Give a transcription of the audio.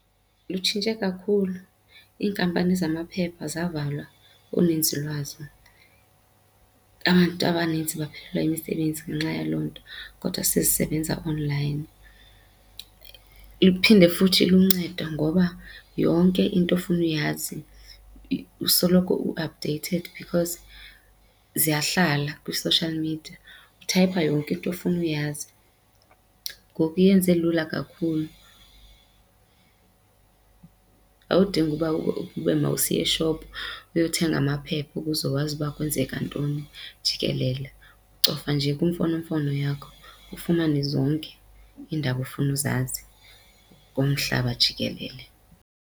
Lutshintshe kakhulu, iinkampani zamaphepha zivalwa uninzi lwazo. Abantu abanintsi baphelelwa yimisebenzi ngenxa yaloo nto kodwa sesisebenza online. Iphinde futhi iluncedo ngoba yonke into ofuna uyazi usoloko u-updated because ziyahlala kwi-social media, uthayipha yonke into ofuna uyazi. Ngoku iyenze lula kakhulu, awudingi uba ube masiya eshophu uyothenga amaphepha ukuze wazi uba kwenzeka ntoni jikelele. Ucofa nje kwimfonomfono yakho ufumane zonke iindaba ofuna uzazi ngomhlaba jikelele.